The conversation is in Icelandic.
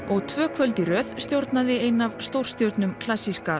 og tvö kvöld í röð stjórnaði ein af stórstjörnum klassíska